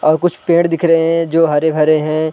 और कुछ पेड़ दिख रहे है जो हरे-भरे है ।